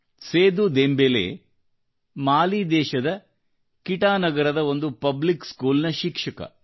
ಸೇದೂ Dembele Mali ದೇಶದ Kita ನಗರದ ಒಂದು ಪಬ್ಲಿಕ್ ಸ್ಕೂಲ್ನ ಶಿಕ್ಷಕ